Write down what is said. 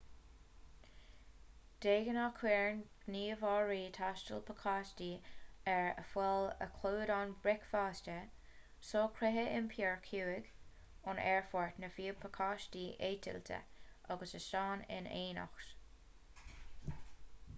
de ghnáth cuireann gníomhairí taistil pacáistí ar fáil a chlúdaíonn bricfeasta socruithe iompair chuig/ón aerfort nó fiú pacáistí eitilte agus óstáin in éineacht